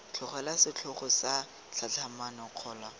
tlogelwa setlhogo sa tlhatlhamano kgolo